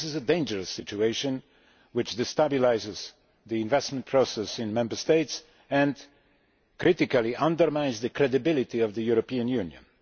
This is a dangerous situation which destabilises the investment process in Member States and critically undermines the credibility of the European Union.